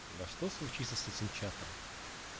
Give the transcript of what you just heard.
на что случится с этим чатом